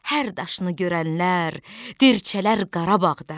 Hər daşını görənlər dirçələr Qarabağda.